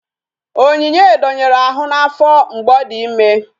Onyinye donyere ahụ n'afọ mgbe ọ dị ime